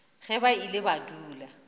ge ba ile ba dula